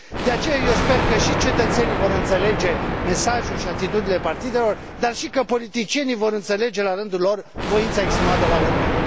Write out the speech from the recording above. De aceea eu sper că și cetățenii vor înțelege mesajul și atitudinile partidelor, dar și că politicienii vor înțelege la rândul lor voința exprimată la urne.